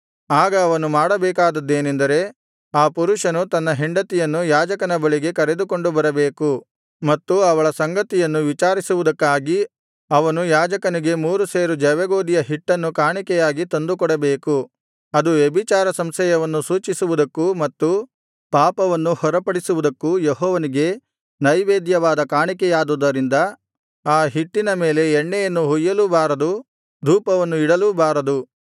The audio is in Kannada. ಆಗ ಅವನು ಮಾಡಬೇಕಾದದ್ದೇನೆಂದರೆ ಆ ಪುರುಷನು ತನ್ನ ಹೆಂಡತಿಯನ್ನು ಯಾಜಕನ ಬಳಿಗೆ ಕರೆದುಕೊಂಡು ಬರಬೇಕು ಮತ್ತು ಅವಳ ಸಂಗತಿಯನ್ನು ವಿಚಾರಿಸುವುದಕ್ಕಾಗಿ ಅವನು ಯಾಜಕನಿಗೆ ಮೂರು ಸೇರು ಜವೆಗೋದಿಯ ಹಿಟ್ಟನ್ನು ಕಾಣಿಕೆಯಾಗಿ ತಂದುಕೊಡಬೇಕು ಅದು ವ್ಯಭಿಚಾರ ಸಂಶಯವನ್ನು ಸೂಚಿಸುವುದಕ್ಕೂ ಮತ್ತು ಪಾಪವನ್ನು ಹೊರಪಡಿಸುವುದಕ್ಕೂ ಯೆಹೋವನಿಗೆ ನೈವೇದ್ಯವಾದ ಕಾಣಿಕೆಯಾದುದರಿಂದ ಆ ಹಿಟ್ಟಿನ ಮೇಲೆ ಎಣ್ಣೆಯನ್ನು ಹೊಯ್ಯಲೂಬಾರದು ಧೂಪವನ್ನು ಇಡಲೂಬಾರದು